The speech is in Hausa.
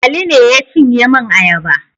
Ali ne ya cinye min ayaba.